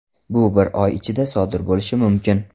Bu bir oy ichida sodir bo‘lishi mumkin.